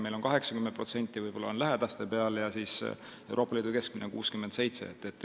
Meil on 80% koormusest võib-olla lähedaste peal ja Euroopa Liidu keskmine on 67%.